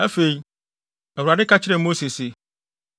Afei, Awurade ka kyerɛɛ Mose se,